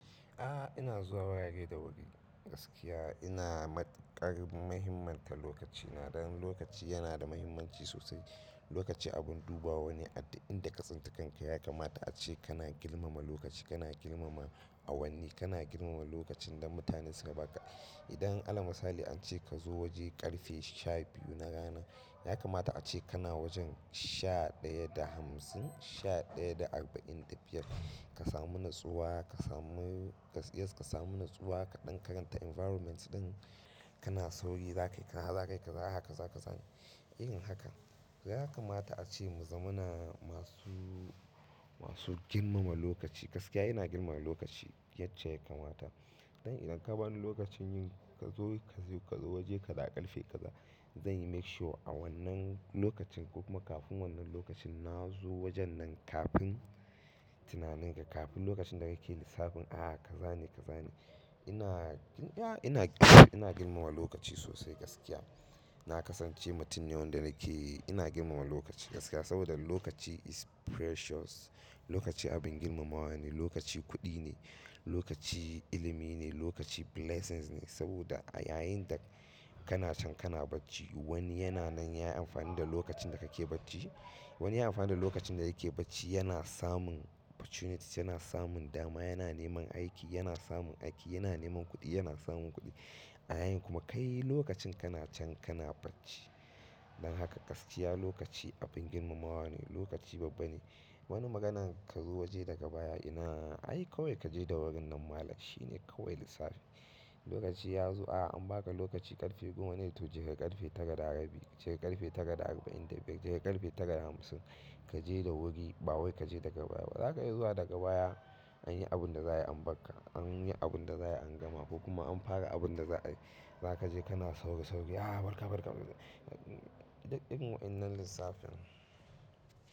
A'a, ina zuwa waya ne da wuri gaskiya ina matukar mahimmanta lokacina. Dan lokaci yana da muhimmanci sosai. Lokaci abun dubawa ne adik inda ka tsinta kanka musamman idan Allah musta'i ace kazo waje karfe shabiyu na rana, ya kamata ace kana wajen sha ɗaya da hamsin, sha ɗaya da arba'in da biyar. Ka samu natsuwa, ka samu, yes ka samu natsuwa, ka dankaranta environment din kana sauri zakai, kana zakai kaza haka, zaka zan yin haka. Yakamata ace yazamana masu girmama lokaci dan idan ka bani lokacin yin kazo, ka je kazo waje kaza karfe kaza, zan yi make sure a wannan lokacin kuma kafin wannan lokacin na zo wajen nan kafin tunanin ka, kafin lokacin da kake lissafin a'a kaza ne kaza ne. Ina, ya ina, ina girmama lokaci sosai gaskiya. Nakasance mutum ne wanda ina girmama lokaci gaskiya saboda lokaci is precious, lokaci abin girmamawa ne, lokaci kuɗi ne, lokaci ilimi ne, lokaci blessings ne. Saboda a yayin da kana can kana bacci wani yana nan yayi amfani da lokacin da kake bacci, wani yayi amfani da lokacin da yake bacci yana samun opportunity, yana samun dama, yana neman aiki, yana samun aiki, yana neman kuɗi, yana samun kuɗi. A yayin kuma kai lokacin kana can kana bacci. Dan haka gaskiya lokaci abin girmamawa ne, lokaci babba ne. Wani maganan ka zo waje daga baya ina ai kawai kaje da wuri nan malam shine kawai lissafi. Lokaci yazo a anbaka lokaci kafe goma to katafi karfe tara da rabi anyi abun da za'a ambaka, an yi abun da za'a angama kuma an fara abun da za'a yi. Zaka je kana sauke sauke a barka barka. Duk irin wannan lissafin.